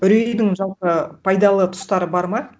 үрейдің жалпы пайдалы тұстары бар ма